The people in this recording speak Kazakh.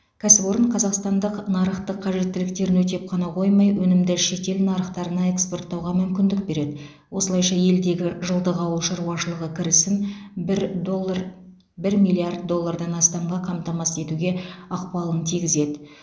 кәсіпорын қазақстандық нарықтық қажеттіліктерін өтеп қана қоймай өнімді шетел нарықтарына экспорттауға мүмкіндік береді осылайша елдегі жылдық ауыл шаруашылығы кірісін бір доллар бір миллиард доллардан астамға қамтамасыз етуге ықпалын тигізеді